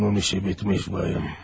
Bunun işi bitmiş bayım.